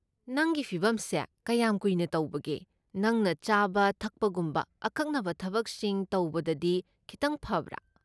ꯅꯪꯒꯤ ꯐꯤꯚꯝꯁꯦ ꯀꯌꯥꯝ ꯀꯨꯏꯅ ꯇꯧꯕꯒꯦ, ꯅꯪꯅ ꯆꯥꯕ ꯊꯛꯄꯒꯨꯝꯕ ꯑꯀꯛꯅꯕ ꯊꯕꯛꯁꯤꯡ ꯇꯧꯕꯗꯗꯤ ꯈꯤꯇꯪ ꯐꯕ꯭ꯔꯥ?